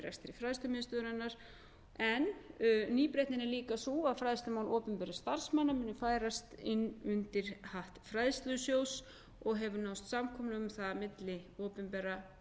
fræðslumiðstöðvarinnar en nýbreytnin er líka sú að fræðslumál opinberra starfsmanna munu færast inn undir hatt fræðslusjóðs og hefur náðst samkomulag um það milli opinberra